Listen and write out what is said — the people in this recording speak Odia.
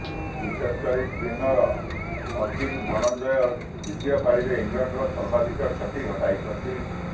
ବିଶେଷକରି ସ୍ପିନର ଅକିଲ ଧନଞ୍ଜୟ ଦ୍ବିତୀୟ ପାଳିରେ ଇଂଲଣ୍ଡର ସର୍ବାଧିକ କ୍ଷତି ଘଟାଇଛନ୍ତି